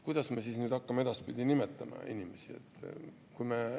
Kuidas me hakkame edaspidi neid inimesi nimetama?